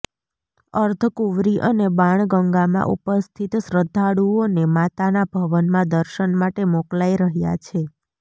અર્ધકુંવરી અને બાણગંગામાં ઉપસ્થિત શ્રદ્ધાળુઓને માતાના ભવનમાં દર્શન માટે મોકલાઈ રહ્યા છે